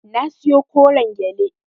Na siyo koren gyale.